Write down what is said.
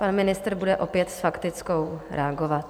Pan ministr bude opět s faktickou reagovat.